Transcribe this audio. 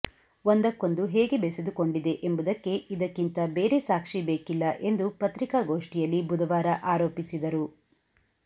ಒಂದಕ್ಕೊಂದು ಹೇಗೆ ಬೆಸೆದುಕೊಂಡಿದೆ ಎಂಬುದಕ್ಕೆ ಇದಕ್ಕಿಂತ ಬೇರೆ ಸಾಕ್ಷಿ ಬೇಕಿಲ್ಲ ಎಂದು ಪತ್ರಿಕಾಗೋಷ್ಠಿಯಲ್ಲಿ ಬುಧವಾರ ಆರೋಪಿಸಿದರು